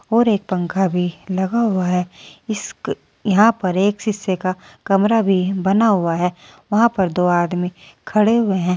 और एक पंखा भी लगा हुआ है इस क यहां पर एक शीशे का कमरा भी बना हुआ है वहां पर दो आदमी खड़े हुए हैं।